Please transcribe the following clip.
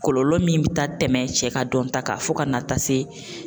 Kɔlɔlɔ min bi taa tɛmɛ cɛ ka dɔn ta kan fɔ ka na taa se